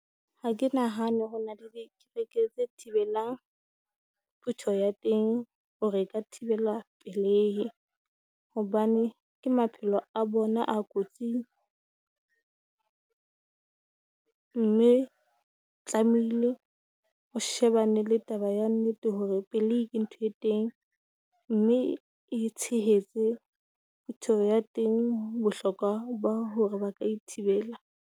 Ha ke nahane hore ho na le pleke tse thibelang phuteho ya teng hore e ka thibela lehe, hobane ke maphelo a bona kotsing, mme tlameile o shebane le taba ya nnete hore pelehi ke ntho e teng. Mme e tshehetse phuteho ya teng bohlokwa ba hore ba ka e thibela.